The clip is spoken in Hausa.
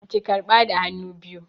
Ki karɓa da hannu biyu!